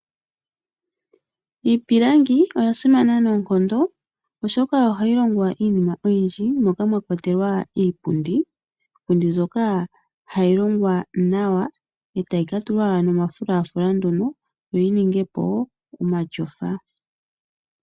Iipilangi oya simana noonkondo, oshoka ohayi longwa iinima oyindji moka mwakwatelwa iipundi, ndjoka hayi longwa nawa etayi katulwa omafulafula yoyi ninge po omatyofa.